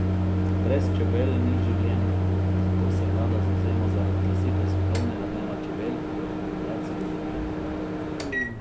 Brez čebel ni življenja, zato se vlada zavzema za razglasitev svetovnega dneva čebel pri Organizaciji združenih narodov.